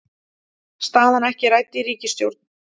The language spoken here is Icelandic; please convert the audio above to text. Staðan ekki rædd í ríkisstjórn